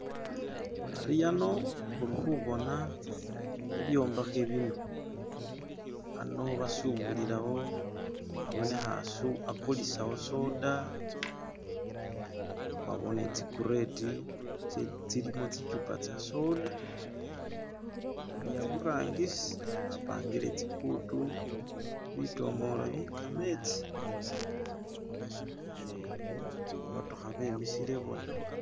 khari khano khulikhubona hibwombakhe bino khano basubulilawo khabonekha asu akulisawo soda khwabone zikureti tsilimo tsichupa tsa soda ni khaburangisi bapangile tsibutu bitomolo bye khametsi ni bumotokha bwimisile bona